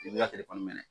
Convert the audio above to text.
I b'i ka